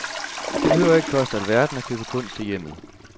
Det behøver ikke koste alverden at købe kunst til hjemmet.